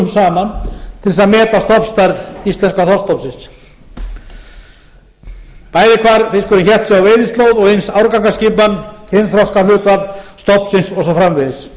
saman til að meta stofnstærð íslenska þorskstofnsins bæði hvar fiskurinn hélt sig á veiðislóð og eins árgangaskipan kynþroskahlutfall stofnsins og svo framvegis